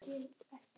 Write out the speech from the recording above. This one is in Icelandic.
Ég læt á það reyna.